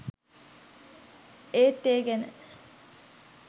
ඒත් ඒ ගැන